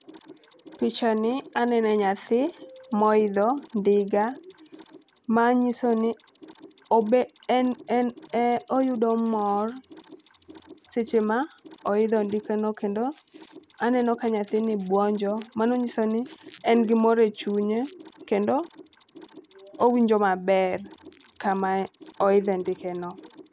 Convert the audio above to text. Picha ni anene nyathi moidho ndiga . Manyiso ni obe en en e oyudo mor seche ma oidho ndike no kendo aneno ka nyathini buonjo . Mano nyiso ni en gi mor e chunye kendo owinjo maber kama oidhe ndike no.